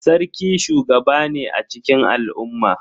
Sarki shugaba ne a cikin al'umma.